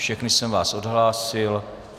Všechny jsem vás odhlásil.